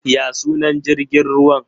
Ya sunan jrigin ruwan?